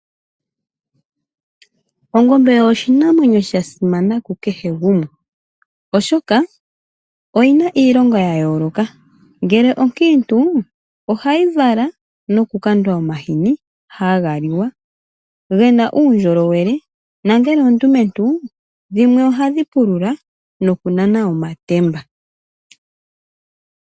Ongombe oyo oshinamwenyo sha simana ku kehe gumwe, oshoka oyi na iilonga ya yooloka. Ngele onkiitu, ohayi vala nokukandwa omahini haga liwa ge na uundjolowele nongele ondumentu dhimwe ohadhi pulula nokunana omatemba.